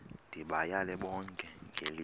ndibayale bonke ngelithi